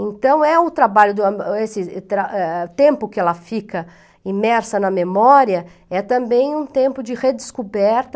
Então, é o trabalho o tempo que ela fica imersa na memória, é também um tempo de redescoberta,